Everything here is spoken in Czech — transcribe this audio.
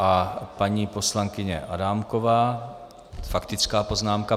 A paní poslankyně Adámková - faktická poznámka.